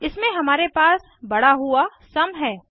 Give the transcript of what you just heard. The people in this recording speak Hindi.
इसमें हमारे पास बड़ा हुआ सुम है